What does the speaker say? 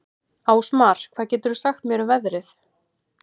Ásmar, hvað geturðu sagt mér um veðrið?